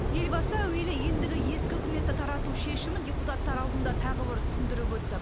елбасы әуелі ендігі ескі үкіметті тарату шешімін депутаттар алдында тағы бір түсіндіріп өтті